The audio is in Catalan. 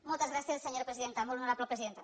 moltes gràcies senyora presidenta molt honorable presidenta